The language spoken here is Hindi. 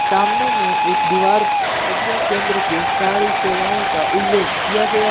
सामने में एक दीवार प्रज्ञा केंद्र के सारी सेवाओं का उल्लेख किया गया--